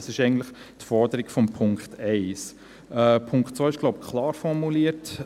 Das ist eigentlich die Forderung von Punkt 1. Punkt 2 ist, wie ich glaube, klar formuliert.